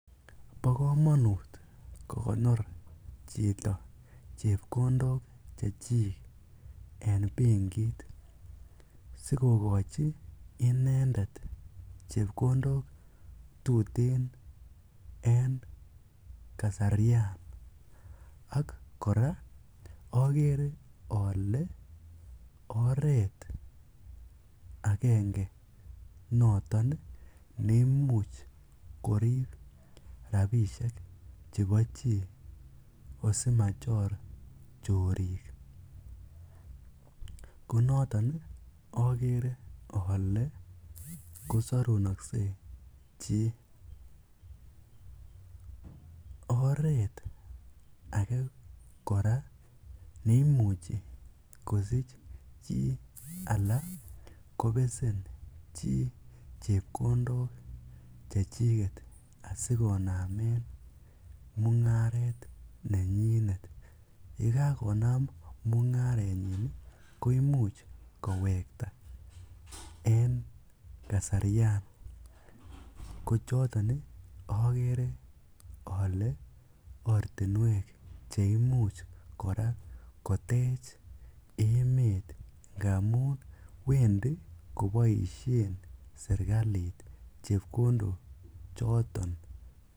Bokomonut kokonor chito rabinik chechik en benkit sikokochi inendet chepkondok tuten en kasarian ak kora okere olee oreet akenge noton neimuch korib rabishek chebo chii asimachor chorik, ko noton okere olee kosorunokse chii, oreet akee kora neimuchi kosich chii lan kobesen chii chepkondok chechiket asikonamen mungaret nenyinet, yekakonam mungarenyin koimuch kowekta en kasarian ko choton okere olee ortinwek cheimuch kora kotech emet ngamun wendi koboishen serikalit chepkondo choton.